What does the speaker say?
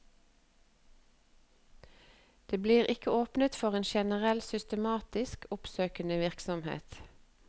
Det blir ikke åpnet for en generell systematisk oppsøkende virksomhet.